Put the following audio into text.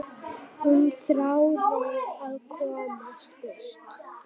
Hún þráði að komast burt.